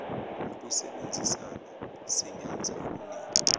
ngokusebenzisana singenza okuningi